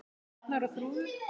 Arnar og Þrúður.